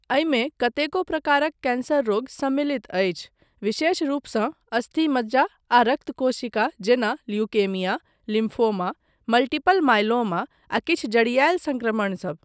एहिमे कतेको प्रकारक कैंसर रोग सम्मलित अछि विशेष रूपसँ अस्थि मज्जा आ रक्त कोशिका जेना ल्यूकेमिया, लिम्फोमा, मल्टीपल मायलोमा आ किछु जड़ियायल संक्रमण सब।